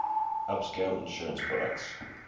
upscale insurance products